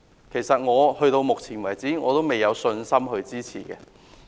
其實，到目前為止，我仍未有信心支持此建議。